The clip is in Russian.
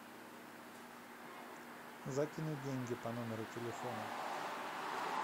закинуть деньги по номеру телефона